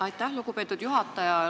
Aitäh, lugupeetud juhataja!